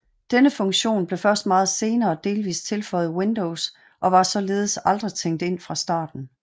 Denne funktion blev først meget senere delvist tilføjet Windows og var således aldrig tænkt ind fra starten